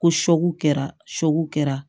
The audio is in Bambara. Ko kɛra kɛra